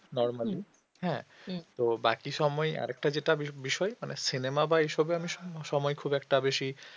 normally হ্যাঁ তো বাকি সময় আরেকটা যেটা বিষয়ে cinema বা এ সবে স~ সময় খুব একটা বেশি